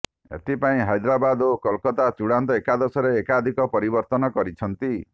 ଏଥିପାଇଁ ହାଇଦ୍ରାବାଦ ଓ କୋଲକାତା ଚୂଡ଼ାନ୍ତ ଏକାଦଶରେ ଏକାଧିକ ପରିବର୍ତ୍ତନ କରିଛନ୍ତି